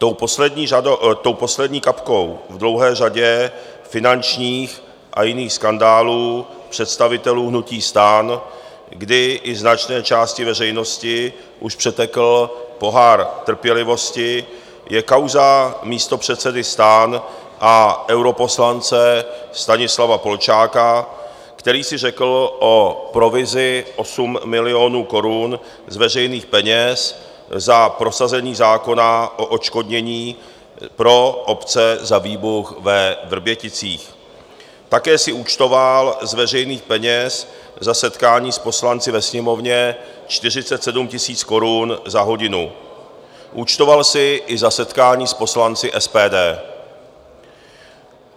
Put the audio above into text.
Tou poslední kapkou v dlouhé řadě finančních a jiných skandálů představitelů hnutí STAN, kdy i značné části veřejnosti už přetekl pohár trpělivosti, je kauza místopředsedy STAN a europoslance Stanislava Polčáka, který si řekl o provizi 8 milionů korun z veřejných peněz za prosazení zákona o odškodnění pro obce za výbuch ve Vrběticích, také si účtoval z veřejných peněz za setkání s poslanci ve Sněmovně 47 000 korun za hodinu, účtoval si i za setkání s poslanci SPD.